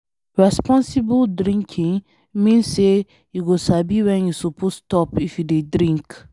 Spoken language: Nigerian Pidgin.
Responsible drinking mean say you go sabi when you suppose stop if you dey drink.